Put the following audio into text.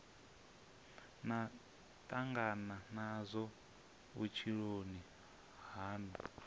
na tangana nazwo vhutshiloni hanu